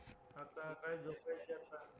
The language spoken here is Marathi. आता काय झोपायचं आता